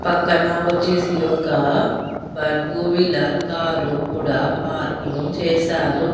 పక్కన వచ్చేసి ఒక బ టూ వీలర్ కారు కూడా పార్కింగ్ చేశారు.